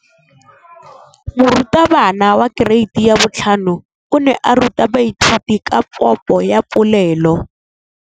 Moratabana wa kereiti ya 5 o ne a ruta baithuti ka popô ya polelô.